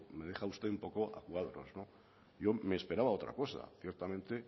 me deja usted un poco a cuadros yo me esperaba otra cosa ciertamente